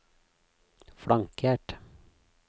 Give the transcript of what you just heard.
flankert